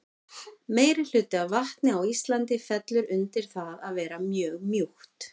Meirihluti af vatni á Íslandi fellur undir það að vera mjög mjúkt.